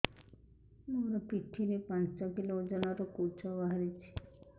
ମୋ ପିଠି ରେ ପାଞ୍ଚ କିଲୋ ଓଜନ ର କୁଜ ବାହାରିଛି